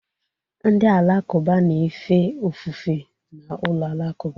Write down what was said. Ndị Alakụba na-efe ofufe na ụlọ alakụba